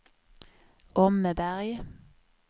Åmmeberg